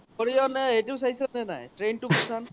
নে এইতো ছাইচ নে নাই